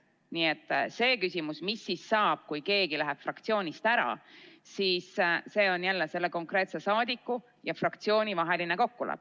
Nii et see küsimus, mis siis saab, kui keegi läheb fraktsioonist ära, on jälle selle konkreetse saadiku ja fraktsiooni vaheline kokkulepe.